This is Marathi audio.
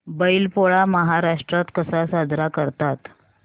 बैल पोळा महाराष्ट्रात कसा साजरा करतात